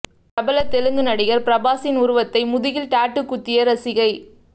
பிரபல தெலுங்கு நடிகர் பிரபாஸின் உருவத்தை முதுகில் டாட்டூ குத்திய ரசிகை